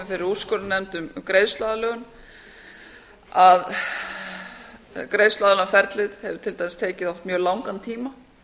fyrir úrskurðarnefnd um greiðsluaðlögun að greiðsluaðlögunarferlið hefur til dæmis tekið oft mjög langan tíma